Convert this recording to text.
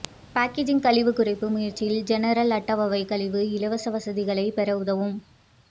packaging கழிவு குறைப்பு முயற்சிகள் ஜெனரல் அட்வைவை கழிவு இலவச வசதிகளைப் பெற உதவும்